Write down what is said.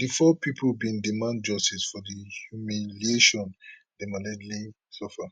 di four pipo bin demand justice for di humiliation dem allegedly suffer